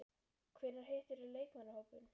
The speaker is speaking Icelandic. Hvenær hittirðu leikmannahópinn?